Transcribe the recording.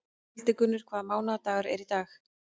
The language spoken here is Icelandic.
Hildigunnur, hvaða mánaðardagur er í dag?